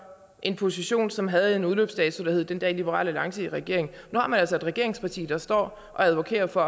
en position som havde en udløbsdato der hed den dag liberal alliance var i regering nu har man altså et regeringsparti der står og advokerer for